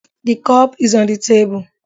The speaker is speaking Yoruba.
The cup is on the table